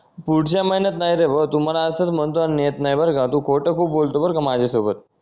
पुढच्या महिन्यात नाही रे भाऊ तू मला असंच म्हणतो आणि नेहत नाही बरं का तू खोटं खूप बोलतो बरं का माझ्यासोबत